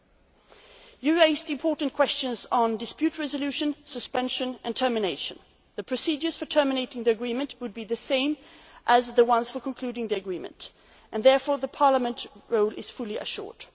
that country. Members have raised important questions on dispute resolution, suspension and termination. The procedures for terminating the agreement would be the same as those for concluding the agreement and therefore Parliament's role is